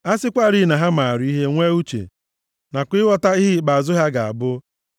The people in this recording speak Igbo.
A sịkwarị na ha maara ihe, nwee uche nakwa ịghọta ihe ikpeazụ ha ga-abụ.